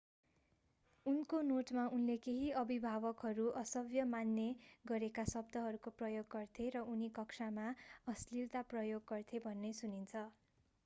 उनको नोटमा उनले केही अभिभावकहरू असभ्य मान्ने गरेका शब्दहरूको प्रयोग गर्थे र उनी कक्षामा अश्‍लिलता प्रयोग गर्थे भन्ने सुनिन्छ।